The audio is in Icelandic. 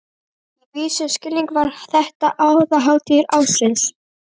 Í vissum skilningi var þetta aðalhátíð ársins.